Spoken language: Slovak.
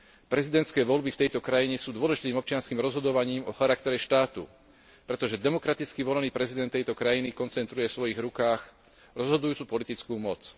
Prezidentské voľby v tejto krajine sú dôležitým občianskym rozhodovaním o charaktere štátu, pretože demokraticky volený prezident tejto krajiny koncentruje vo svojich rukách rozhodujúcu politickú moc.